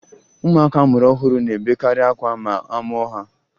Ụmụaka a mụrụ ọhụrụ na-ebekarị akwa ma a mụọ ha